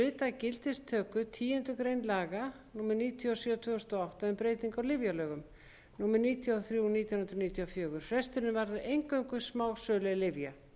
gildistöku tíundu grein laga númer níutíu og sjö tvö þúsund og átta um breytingu á lyfjalögum númer níutíu og þrjú nítján hundruð níutíu og fjögur frestunin varðar eingöngu smásölu lyfja